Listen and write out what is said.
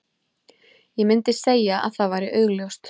Ég myndi segja að það væri augljóst.